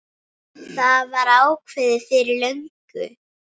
Það var ákveðið fyrir löngu.